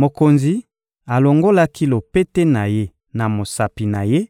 Mokonzi alongolaki lopete na ye na mosapi na ye